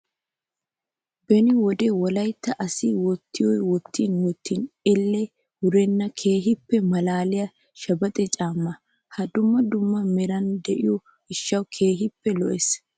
Beni wode wolayitta asayi wottiyoo wottin wottin elle wurenna keehipppe malaaliyaa shebexe caammaa. I dumma dumma meran diyoo gishshawu keehippe lo''es.